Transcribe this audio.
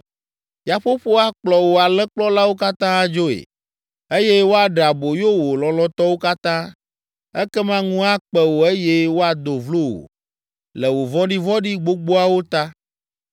Yaƒoƒo akplɔ wò alẽkplɔlawo katã adzoe, eye woaɖe aboyo wò lɔlɔ̃tɔwo katã. Ekema ŋu akpe wò eye woado vlo wò le wò vɔ̃ɖivɔ̃ɖi gbogboawo ta.